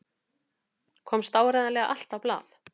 Komst áreiðanlega allt á blað?